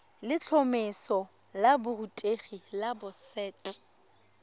letlhomeso la borutegi la boset